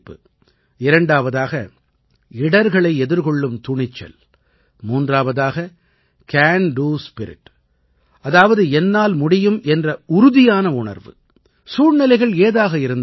இரண்டாவதாக இடர்களை எதிர்கொள்ளும் துணிச்சல் மூன்றாவதாக சிஏஎன் டோ ஸ்பிரிட் அதாவது என்னால் முடியும் என்ற உறுதியான உணர்வு சூழ்நிலைகள் ஏதாக இருந்தாலும் சரி